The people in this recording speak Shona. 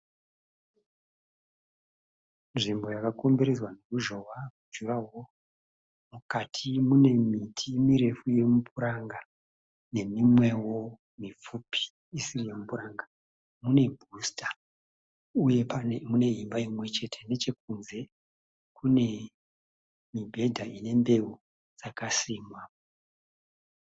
Nzvimbo yakakomberedzwa neruzhowa runonzi jurahoro. Mukati mune miti mirefu yemupuranga nemimwewo mipfupi isiri yemupuranga. Mune bhusita uye mune imba imwechete nechekunze kune mibhedha ine mbeu dzakasimwa.